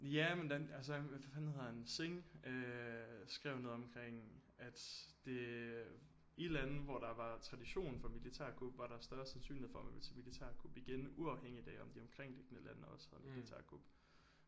Ja hvordan altså hvad fanden hedder han Sing øh skrev noget omkring at det øh i lande hvor der var tradition for militærkup var der større sandsynlighed for at man ville se militærkup igen uafhængigt af om de omkringliggende lande også havde militærkup